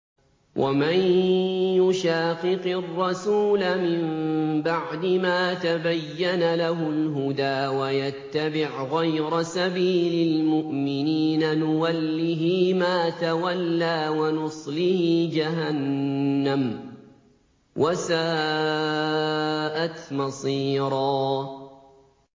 وَمَن يُشَاقِقِ الرَّسُولَ مِن بَعْدِ مَا تَبَيَّنَ لَهُ الْهُدَىٰ وَيَتَّبِعْ غَيْرَ سَبِيلِ الْمُؤْمِنِينَ نُوَلِّهِ مَا تَوَلَّىٰ وَنُصْلِهِ جَهَنَّمَ ۖ وَسَاءَتْ مَصِيرًا